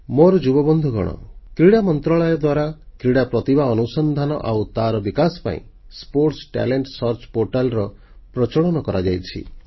ମୋର ଯୁବବନ୍ଧୁଗଣ କ୍ରୀଡ଼ା ମନ୍ତ୍ରଣାଳୟ ଦ୍ୱାରା କ୍ରୀଡ଼ା ପ୍ରତିଭା ଅନୁସନ୍ଧାନ ଆଉ ତାର ବିକାଶ ପାଇଁ କ୍ରୀଡା ପ୍ରତିଭା ଅନ୍ବେଷଣ portal sports talent search portal ପ୍ରଚଳନ କରାଯାଇଛି